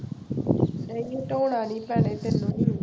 ਨਹੀਂ ਹਟਾਉਣਾ ਨੀ ਭੈਣੇ ਤੈਨੂੰ